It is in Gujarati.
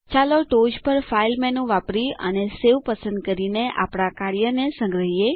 ચાલો ટોચ પર ફાઇલ મેનુ વાપરી અને સવે પસંદ કરીને આપણા કાર્યને સંગ્રહીયે